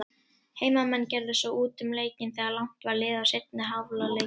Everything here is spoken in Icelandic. Heimamenn gerðu svo út um leikinn þegar langt var liðið á seinni hálfleikinn.